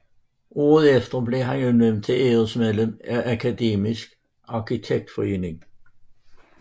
Året efter blev han udnævnt til æresmedlem af Akademisk Arkitektforening